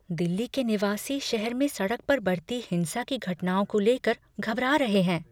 दिल्ली के निवासी शहर में सड़क पर बढ़ती हिंसा की घटनाओं को लेकर घबरा रहे हैं।